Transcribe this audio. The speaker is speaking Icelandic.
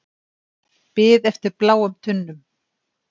Bið eftir bláum tunnum